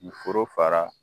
U foro fara